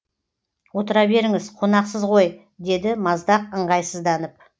отыра беріңіз қонақсыз ғой деді маздақ ыңғайсызданып